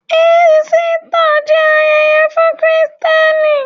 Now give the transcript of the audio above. Ísítà jẹ́ ayẹyẹ fún Kristẹni.